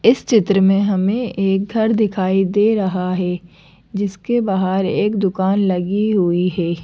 इस चित्र में हमें एक घर दिखाई दे रहा है जिसके बाहर एक दुकान लगी हुई है।